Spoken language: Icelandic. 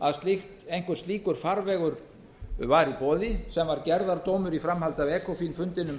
að einhver slíkur farvegur væri í boði sem var gerðardómur í framhaldi af ekophil fundinum